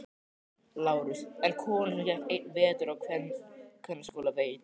LÁRUS: En konan sem gekk einn vetur á kvennaskóla veit.